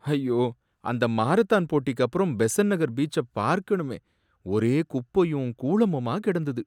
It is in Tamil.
ஐயோ! அந்த மாரத்தான் போட்டிக்கப்புறம் பெசன்ட் நகர் பீச்ச பார்க்கணுமே, ஒரே குப்பயும் கூளமுமா கிடந்தது.